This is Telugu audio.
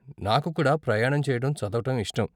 నాకు కూడా ప్రయాణం చేయటం, చదవటం ఇష్టం.